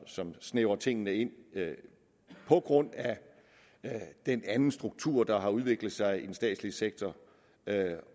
som snævrer tingene ind på grund af den anden struktur der har udviklet sig i den statslige sektor